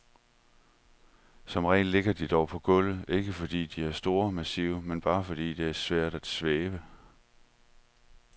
Som regel ligger de dog på gulvet, ikke fordi de er store og massive, men bare fordi det er svært at svæve.